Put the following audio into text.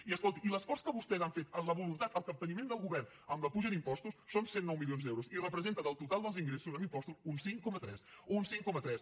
i escolti i l’esforç que vostès han fet en la voluntat el capteniment del govern amb la puja d’impostos són cent i nou milions d’euros i representa del total dels ingressos en impostos un cinc coma tres un cinc coma tres